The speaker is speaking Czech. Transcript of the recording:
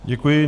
Děkuji.